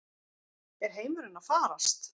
Er heimurinn að farast?